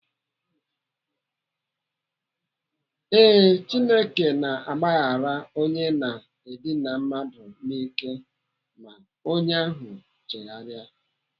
Ee, Chineke na-agbahara onye na-edina mmadụ n'ike ma onye ahụ chegharịa.